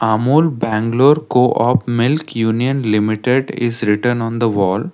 amul bangalore co-op milk union limited is written on the wall.